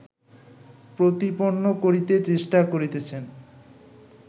প্রতিপন্ন করিতে চেষ্টা করিতেছেন